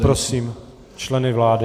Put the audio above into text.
Poprosím členy vlády.